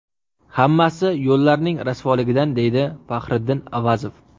Hammasi yo‘llarning rasvoligidan, deydi Fahriddin Avazov.